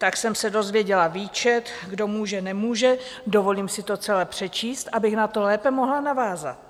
Tak jsem se dozvěděla výčet, kdo může, nemůže, dovolím si to celé přečíst, abych na to lépe mohla navázat.